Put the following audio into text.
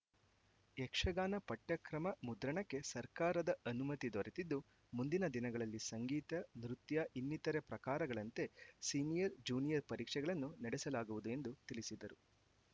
ಯಕ್ಷಗಾನ ಪಠ್ಯಕ್ರಮ ಮುದ್ರಣಕ್ಕೆ ಸರ್ಕಾರದ ಅನುಮತಿ ದೊರೆತಿದ್ದು ಮುಂದಿನ ದಿನಗಳಲ್ಲಿ ಸಂಗೀತ ನೃತ್ಯ ಇನ್ನಿತರೆ ಪ್ರಕಾರಗಳಂತೆ ಸಿನಿಯರ್‌ ಜ್ಯೂನಿಯರ್‌ ಪರೀಕ್ಷೆಗಳನ್ನು ನಡೆಸಲಾಗುವುದು ಎಂದು ತಿಳಿಸಿದರು